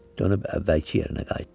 Dönüb əvvəlki yerinə qayıtdı.